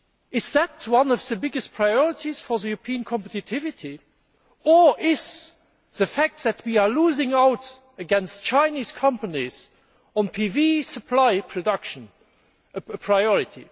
Is that one of the biggest priorities for European competitiveness, or is the fact that we are losing out against Chinese companies on PV supply and production a priority?